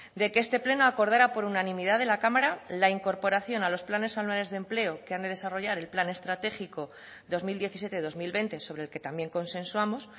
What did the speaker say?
de que este pleno acordara por unanimidad de la cámara la incorporación a los planes anuales de empleo que han de desarrollar el plan estratégico dos mil diecisiete dos mil veinte sobre el que también consensuamos